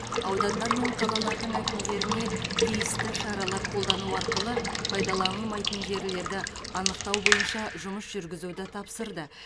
аудандар мен қалалардың әкімдеріне тиісті шаралар қолдану арқылы пайдаланылмайтын жерлерді анықтау бойынша жұмыс жүргізуді тапсырды